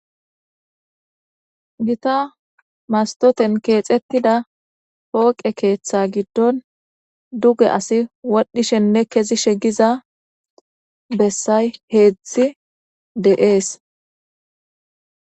gita mastoten keexettida pooqe keeththa giddon duge asi wadhdhishenne kezishe giza bessay heedzdzi de7ees